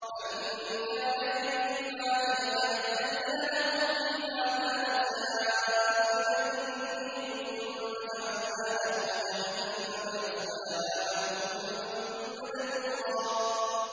مَّن كَانَ يُرِيدُ الْعَاجِلَةَ عَجَّلْنَا لَهُ فِيهَا مَا نَشَاءُ لِمَن نُّرِيدُ ثُمَّ جَعَلْنَا لَهُ جَهَنَّمَ يَصْلَاهَا مَذْمُومًا مَّدْحُورًا